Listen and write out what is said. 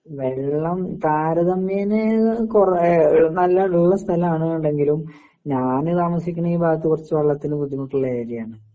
വെള്ളം താരതമ്യേനേ കൊറ എഹ് നല്ല ഒള്ള സ്ഥലാണ്ന്നണ്ടെങ്കിലും ഞാന് താമസിക്കണ ഈ ഭാഗത്തു കൊറച്ചു വള്ളത്തിനു ബുദ്ധിമുട്ടുള്ള ഏരിയ ആണ്.